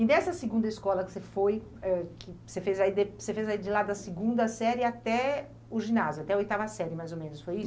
E nessa segunda escola que você foi, eh, que você fez aí de, você fez aí de lá da segunda série até o ginásio, até a oitava série, mais ou menos, foi